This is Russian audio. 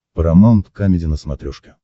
парамаунт камеди на смотрешке